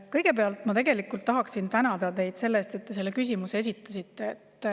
Kõigepealt ma tahan tänada teid selle eest, et te selle küsimuse esitasite.